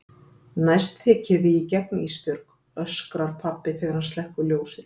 Næst tek ég þig í gegn Ísbjörg, öskrar pabbi þegar hann slekkur ljósið.